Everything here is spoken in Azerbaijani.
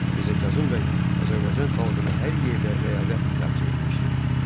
Mirzə Kazım bəy, Azərbaycan xalqını hər yerdə ləyaqətlə təmsil etmişdir.